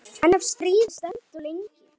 En ef stríðið stendur lengi?